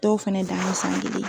Dɔw fɛnɛ dan ye san kelen